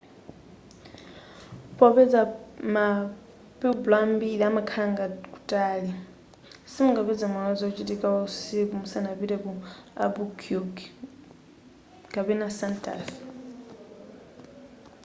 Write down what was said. popeza ma pueblo ambiri amakhala ngati kutali simungapeze moyo wazochitika wausiku musanapite ku albuquerque kapena santa fe